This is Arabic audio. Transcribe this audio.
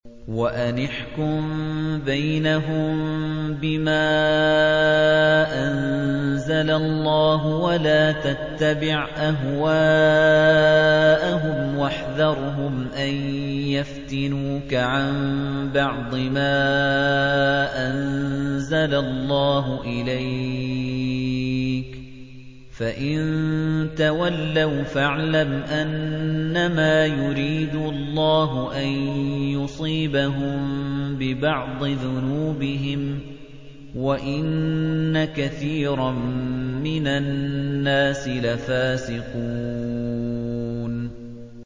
وَأَنِ احْكُم بَيْنَهُم بِمَا أَنزَلَ اللَّهُ وَلَا تَتَّبِعْ أَهْوَاءَهُمْ وَاحْذَرْهُمْ أَن يَفْتِنُوكَ عَن بَعْضِ مَا أَنزَلَ اللَّهُ إِلَيْكَ ۖ فَإِن تَوَلَّوْا فَاعْلَمْ أَنَّمَا يُرِيدُ اللَّهُ أَن يُصِيبَهُم بِبَعْضِ ذُنُوبِهِمْ ۗ وَإِنَّ كَثِيرًا مِّنَ النَّاسِ لَفَاسِقُونَ